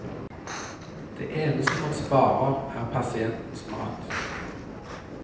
Det eneste man sparer, er pasientens mat.